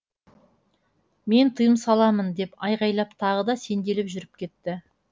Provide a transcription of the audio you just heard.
мен тыйым саламын деп айғайлап тағы да сенделіп жүріп кетті